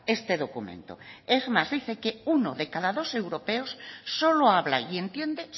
este documento es más dice que uno de cada dos europeos solo habla y entiende